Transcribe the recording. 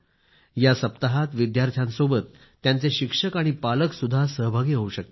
या सप्ताहात विद्यार्थ्यांच्या सोबतच त्यांचे शिक्षक आणि पालक पण सहभागी होऊ शकतात